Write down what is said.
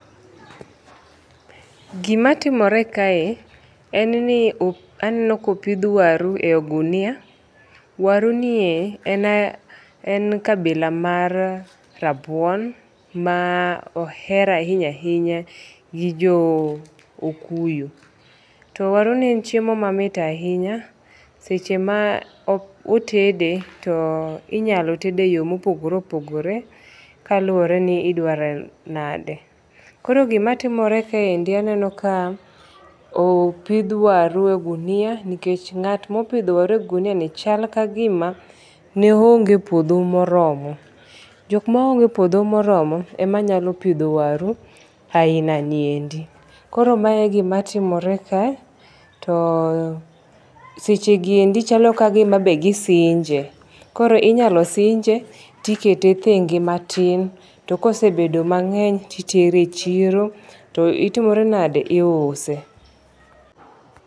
Gima timore kae en ni aneno ka opith waru e ogunia. Waru nie e kabila war rabuon ma oher ahinya ahinya gi jo okuyu. To waru ni en chiemo mamit ahinya seche ma otede to inyalo tede e yo mopogore opogore kaluwore ni idware nade. Koro gima timore kaendi aneno ka opidh waru e ogunia nikech ng'at mopidho waru e ogunia ni chal ka gima ne oonge puodho moromo. Jok ma onge puodho moromo ema nyalo pidho waru ainaniendi. Koro mae e gima timore ka. To seche giendi chalo ka gima be gisinje. Koro inyalo sinje tikete thenge matin. Tokosebedo mang'eny titere e chilo to otimore nade? Iuse.